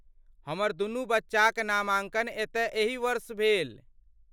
हमर दुनू बच्चाक नामाँकन एतय एहि वर्ष भेल।